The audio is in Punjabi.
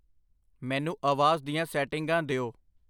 ਮੈਨੂੰ ਆਵਾਜ਼ ਦੀਆਂ ਸੈਟਿੰਗਾਂ ਦਿਓ।